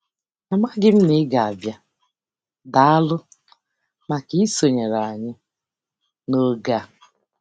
Amaghị m na ị ga-abịa - Daalụ maka isonyere anyị n'oge a.